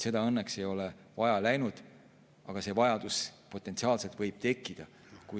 Seda ei ole õnneks vaja läinud, aga see vajadus võib potentsiaalselt tekkida.